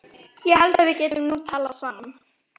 Ég held að við getum nú talað saman!